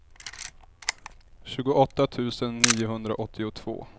tjugoåtta tusen niohundraåttiotvå